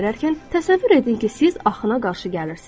təsəvvür edin ki, siz axına qarşı gəlirsiz.